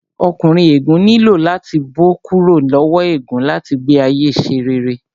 Ọkùnrin ègún nílò láti bó kúrò lowo ègún láti gbé ayé ṣe rere